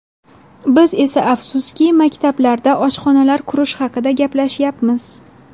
Biz esa, afsuski, maktablarda oshxonalar qurish haqida gaplashyapmiz.